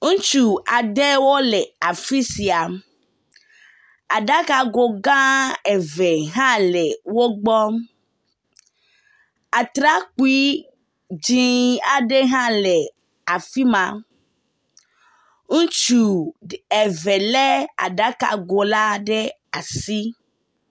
ŋutsu aɖewo le afisia aɖaka go gã eve hã le wógbɔ atsrakpi dzĩ aɖe hã le afima ŋutsu eve le aɖaka go la ɖe asi